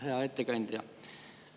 Hea ettekandja!